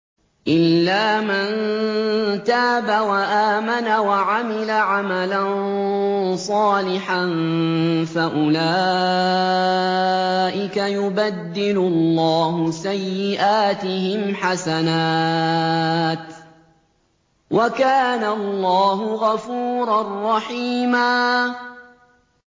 إِلَّا مَن تَابَ وَآمَنَ وَعَمِلَ عَمَلًا صَالِحًا فَأُولَٰئِكَ يُبَدِّلُ اللَّهُ سَيِّئَاتِهِمْ حَسَنَاتٍ ۗ وَكَانَ اللَّهُ غَفُورًا رَّحِيمًا